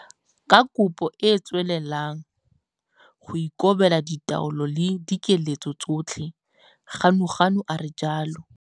Ka kopo e tswelelang go ikobela ditaolelo le dikiletso tsotlhe, Ganuganu a re jalo.